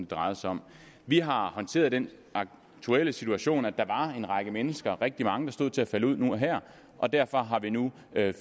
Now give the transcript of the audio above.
drejede sig om vi har håndteret den aktuelle situation at der var en række mennesker rigtig mange der stod til at falde ud nu og her og derfor har vi nu